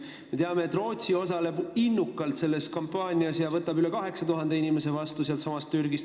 Me teame, et Rootsi osaleb innukalt selles kampaanias ja võtab vastu üle 8000 inimese Türgist.